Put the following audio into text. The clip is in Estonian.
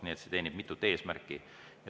Nii et see teenib mitut eesmärki.